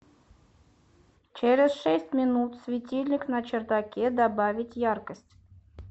через шесть минут светильник на чердаке добавить яркость